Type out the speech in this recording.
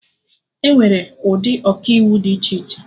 Enwere ụdị Ọkaiwu dị iche iche